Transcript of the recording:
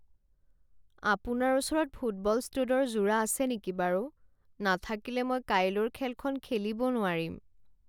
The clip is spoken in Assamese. আপোনাৰ ওচৰত ফুটবল ষ্টুডৰ যোৰা আছে নেকি বাৰু? নাথাকিলে মই কাইলৈৰ খেলখন খেলিব নোৱাৰিম।